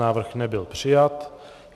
Návrh nebyl přijat.